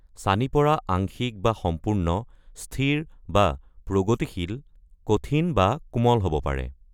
ছানি পৰা আংশিক বা সম্পূৰ্ণ, স্থিৰ বা প্ৰগতিশীল, কঠিন বা কোমল হ'ব পাৰে।